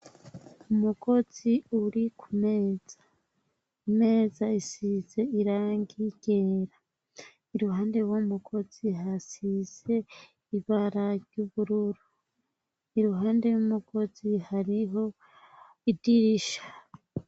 Umugozi uri ku meza, imeza isize irangi ryera, iruhande y'uwo mugozi harasize ibara ry'ubururu, iruhande y'umugozi hariho idirisha.